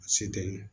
Se tɛ